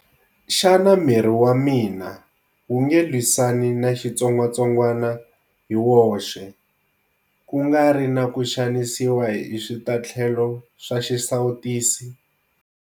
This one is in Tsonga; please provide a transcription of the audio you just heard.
Xana miri wa mina wu nge lwisani na xitsongwatsongwana hi woxe, ku nga ri na ku xanisiwa hi switatlhelo swa xisawutisi?